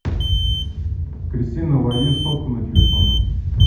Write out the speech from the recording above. кристина лови сотку на телефон